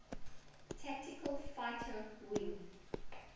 tactical fighter wing